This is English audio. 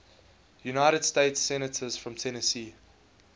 united states senators from tennessee